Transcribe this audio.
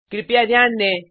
कृपया ध्यान दें